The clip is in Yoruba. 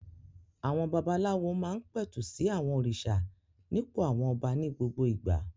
Àwọn babaláwo máa ń pẹ̀tù sí àwọn òrìṣà nípò àwọn ọba ní gbogbo ìgbà.